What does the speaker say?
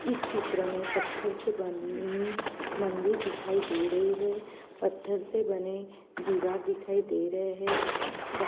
इस चित्र मैं पथर से बनी मंदिर दिखाई दे रही है। पथर से बने दिवार दिखाई दे रहे है। वहा--